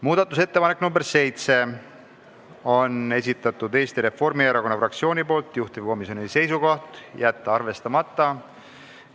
Muudatusettepanek nr 7 on Eesti Reformierakonna fraktsiooni esitatud, juhtivkomisjoni seisukoht: jätta arvestamata.